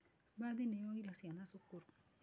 Mbathi nĩ yoire ciana cukuru.